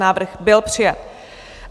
Návrh byl přijat.